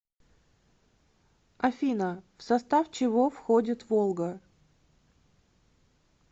афина в состав чего входит волга